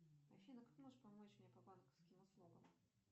афина как можешь помочь мне по банковским услугам